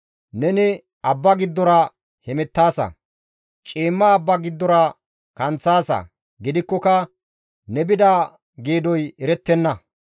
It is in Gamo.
Neni abba giddora hemettaasa; ciimma abba giddora kanththaasa; gidikkoka ne bida geedoy erettenna.